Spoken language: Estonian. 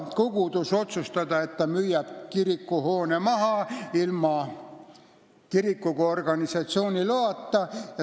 Kogudus ei saa otsustada, et ta müüb kirikuhoone maha ilma kiriku kui organisatsiooni loata.